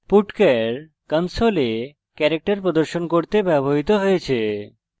putchar console character প্রদর্শন করতে ব্যবহৃত হয়েছে